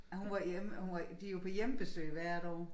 Ej hun var hjemme hun var de jo på hjemmebesøg hvert år